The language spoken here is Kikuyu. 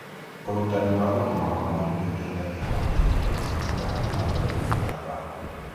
ũrutani wa ũgima wa mwiri nĩ ũrateithia kũnyihia mĩrimũ ya gũtambio gũtamba.